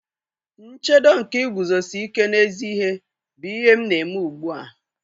Nchedo nke iguzosi ike n'ezi ihe bụ ihe m na-eme ugbu a.